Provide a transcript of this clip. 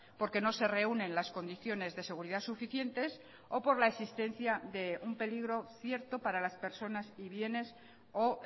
porque no se reúnen las condiciones de seguridad suficientes o por la existencia de un peligro cierto para las personas y bienes o